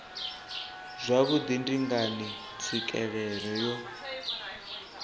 zwauri ndi ngani tswikelelo yo